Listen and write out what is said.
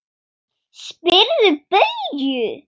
Spyrðu Bauju!